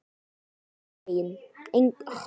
Engan veginn